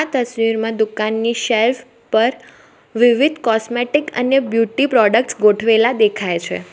આ તસવીરમાં દુકાનની શેલ્ફ પર વિવિધ કોસ્મેટિક્સ અને બ્યુટી પ્રોડક્ટસ ગોઠવેલા દેખાય છે.